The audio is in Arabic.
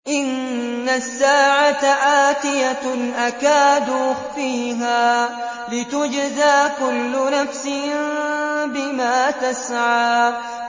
إِنَّ السَّاعَةَ آتِيَةٌ أَكَادُ أُخْفِيهَا لِتُجْزَىٰ كُلُّ نَفْسٍ بِمَا تَسْعَىٰ